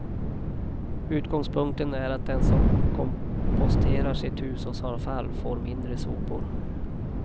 Utgångspunkten är att den som komposterar sitt hushållsavfall får mindre sopor.